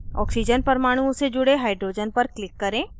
oxygen परमाणुओं से जुड़े hydrogen पर click करें